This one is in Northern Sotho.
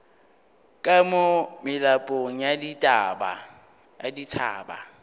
ka mo melapong ya dithaba